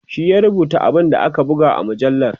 shi ya rubuta abun da aka buga a mujallar